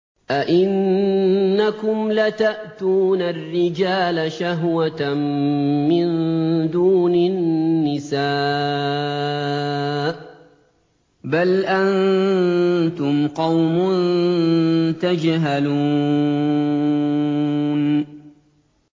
أَئِنَّكُمْ لَتَأْتُونَ الرِّجَالَ شَهْوَةً مِّن دُونِ النِّسَاءِ ۚ بَلْ أَنتُمْ قَوْمٌ تَجْهَلُونَ